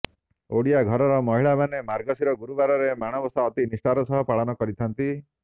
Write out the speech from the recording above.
ଓଡ଼ିଆ ଘରର ମହିଳାମାନେ ମାର୍ଗଶିର ଗୁରୁବାରରେ ମାଣବସା ଅତି ନିଷ୍ଠାର ସହ ପାଳନ କରିଥାନ୍ତି